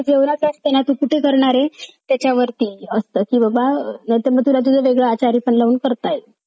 अह त्यांना मिडलेल्या आहे अं अजून एक गौतमी पाटीलचा पंजाबी song सुद्धा एक नुक्त release आपल्या बघेल मिडत आहे तेरा पत्ता त्यांना मिडालेल्या आहे